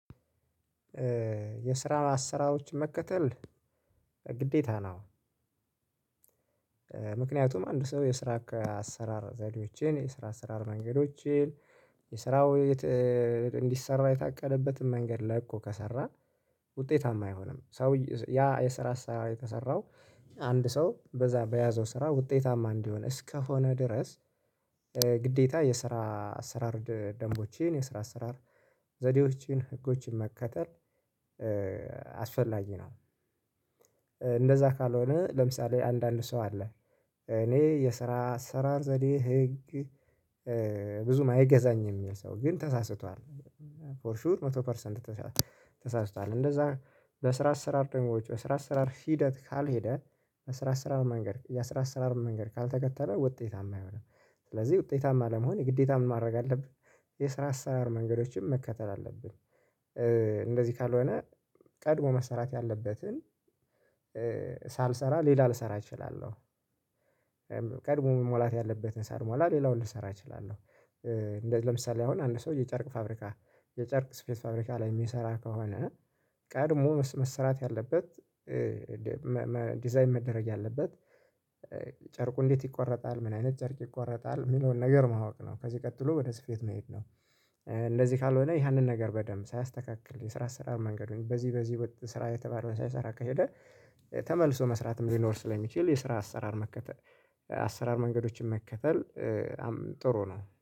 የስራ አሣራሮችን መከተል ግዴታ ነው። ምክንያቱም አንድ ሰው የስራ አሰራር ዘዴዎቼን፤ የስራ አሰራር መንገዶቼን፤ የስራው እንዲሰራ የታቀደበትን መንገድ ላቆ ከሰራ ውጤታማ አይሆንም። ሰው ያ የስራ ስራ የተሰራው አንድ ሰው በዛ በያዘው ስራ ውጤታማ እንዲሆን እስከሆነ ድረስ ግዴታ የስራ አሰራር ደንቦቼን፣ የስራ አሰራር ዘዴዎችን፣ ህጎችን መከተል አስፈላጊ ነው። እንደዛ ካልሆነ ለምሳሌ አንዳንድ ሰው አለ እኔ የስራ አሰራር ዘዴ ህግ ብዙም አይገዛኝም የሚል ሰው ግን ተሳስቷል። ፎር ሹር መቶ ፐርሰንት ተሳስቷል። እንደዛ በስራ አሰራር ደንቦች፣ በስራ አሰራር ሂደት ካልሄደ፤ የስራ አስራር መንገድ፣ የስራ አስራር መንገድ ካልተከተለ ውጤታማ አይሆንም። ስለዚህ ውጤታማ ለመሆን የግዴታ ምን ማድረግ አለብህ? የስራ አሰራር መንገዶችን መከተል አለብህ። እንደዚህ ካልሆነ ቀድሞ መሰራት ያለበትን ሳልሰራ ሌላ ልሰራ እችላለሁ። ቀድሞ መሞላት ያለበትን ሰልሟል ሌላውን ልሰራ እችላለሁ። እንደዚህ ለምሳሌ አሁን አንድ ሰው የጨርቅ ፋብሪካ የጨርቅ ስፌት ፋብሪካ ላይ የሚሰራ ከሆነ ቀድሞ መስራት ያለበት ዲዛይን መደረግ ያለበት ጨርቁ እንዴት ይቆረጣል ምን አይነት ጨርቅ ይቆረጣል የሚለውን ነገር ማወቅ ነው። ከዚህ ቀጥሎ ወደ ስፌት መሄድ ነው። እንደዚህ ካልሆነ ያንን ነገር በደንብ ሳያስተካክል የስራ አሰራር መንገዱን በዚህ በዚህ ስራ የተባለውን ሳይሰራ ከሄደ ተመልሶ መስራትም ሊኖር ስለሚችል፤ የስራ አሰራር መከተል አሰራር መንገዶችን መከተል ጥሩ ነው።